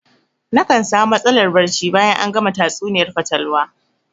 Nakan sami matsalar barci bayan an gama tatsuniyar fatalwa